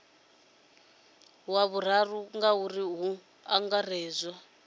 wa vhuraru ngauri hu angaredzwa